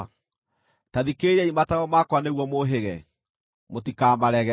Ta thikĩrĩriai mataaro makwa nĩguo mũhĩge; mũtikamarege.